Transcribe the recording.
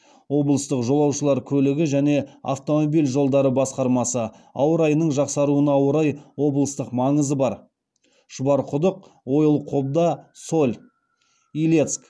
облыстық жолаушылар көлігі және автомобиль жолдары басқармасы ауа райының жақсаруына орай облыстық маңызы бар шұбарқұдық ойыл қобда соль илецк